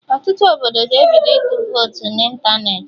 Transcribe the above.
Ọtụtụ obodo ga-ebido ịtụ votu na ịntanetị